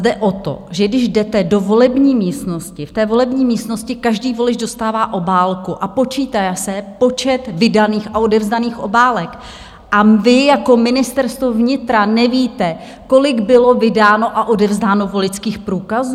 Jde o to, že když jdete do volební místnosti, v té volební místnosti každý volič dostává obálku a počítá se počet vydaných a odevzdaných obálek, a vy jako Ministerstvo vnitra nevíte, kolik bylo vydáno a odevzdáno voličských průkazů?